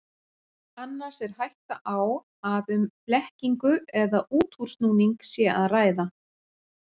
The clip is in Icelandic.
Annars er hætta á að um blekkingu eða útúrsnúning sé að ræða.